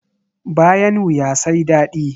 Bayan wuya sai dadi.